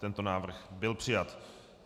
Tento návrh byl přijat.